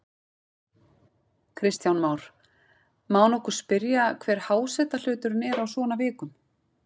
Kristján Már: Má nokkuð spyrja hver hásetahluturinn er á svona vikum?